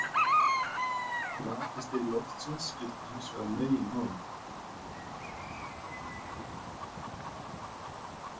Rakastig loftsins skiptir hins vegar meginmáli.